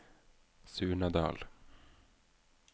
Surnadal